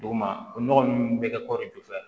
Duguma o nɔgɔ nunnu bɛ kɛ kɔri jufɛla